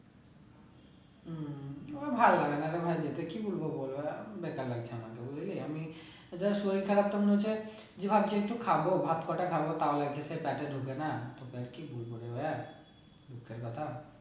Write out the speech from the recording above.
আমার ভালো লাগে না রে ভাই যেতে কি বলবো বল একদম বেকার লাগছে আমার বুঝলি আমি যা শরীর খারাপ তখন হয়েছে যে ভাবছি একটু খাবো ভাত কোটা খাবো তাও ঢোকে না তোকে আর কি বলবো রে ভায়া দুঃখের কথা